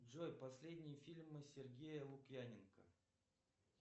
джой последние фильмы сергея лукьяненко